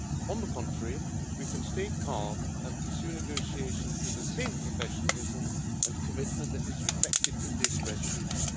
On the contrary, we can stay calm and pursue negotiations with the same professionalism and commitment that is reflected in this resolution.